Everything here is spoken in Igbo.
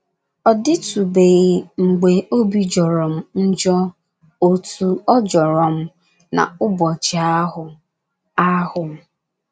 Ọ dịtụbeghị mgbe obi jọrọ m njọ otú ọ jọrọ m n’ụbọchị ahụ. ahụ.